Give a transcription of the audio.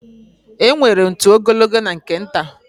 Enwere ntu ogologo na nke nta.